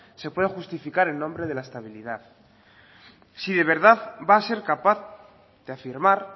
se pueda justificar en nombre de la estabilidad si de verdad va a ser capaz de afirmar